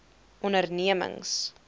ondernemings